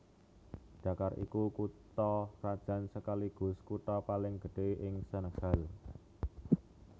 Dakar iku kutha krajan sekaligus kutha paling gedhé ing Senegal